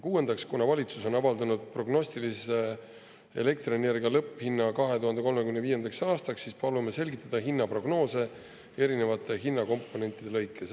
Kuuendaks, kuna valitsus on avaldanud prognostilise elektrienergia lõpphinna 2035. aastaks, siis palume selgitada hinnaprognoose erinevate hinnakomponentide lõikes.